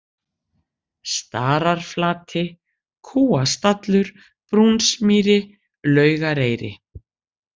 Stararflati, Kúastallur, Brúnsmýri, Laugareyri